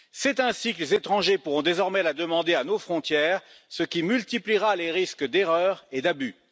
C'est ainsi que les étrangers pourront désormais les demander à nos frontières, ce qui multipliera les risques d'erreurs et d'abus.